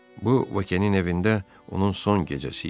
Bu Vokenin evində onun son gecəsi idi.